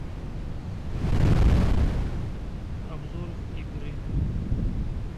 обзор игры